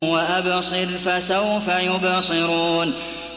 وَأَبْصِرْ فَسَوْفَ يُبْصِرُونَ